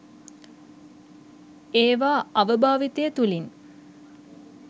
ඒවා අවභාවිතය තුළින්